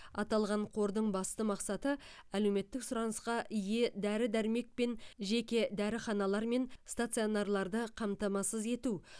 аталған қордың басты мақсаты әлеуметтік сұранысқа ие дәрі дәрмекпен жеке дәріханалар мен стационарларды қамтамасыз ету